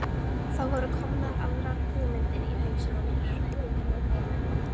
Það voru komnar aðrar hugmyndir í hausinn á mér.